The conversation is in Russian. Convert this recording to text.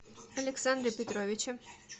александре петровиче